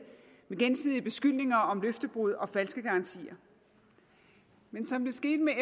med gensidige beskyldninger om løftebrud og falske garantier men som det skete med